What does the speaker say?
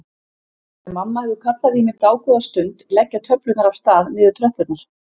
Þegar mamma hefur kallað í mig dágóða stund leggja töflurnar af stað niður tröppurnar.